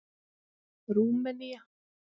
Rúmenía